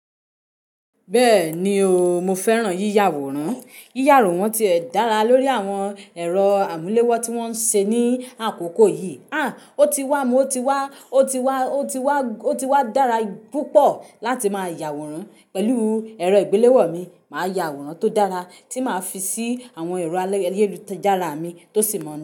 Bẹ́ẹ̀ni o, mo fẹ́ràn yíya àwòrán. Yíya àwòrán ti ẹ̀ dára lórí àwọn ẹ̀rọ amulewo tí wón ń ṣe ní àkókò yìí. Àn, ó ti wá, mo ti wá, ó ti wá, ó ti wá, ó ti wá dára púpọ̀ láti máa yà àwòrán pẹ̀lú ẹ̀rọ ìgbéléwọ́ mi. Máa yà àwòrán tó dára tí màá fi sí àwọn ẹ̀rọ ayélujára mi tó sì mọ̀ ọ́n.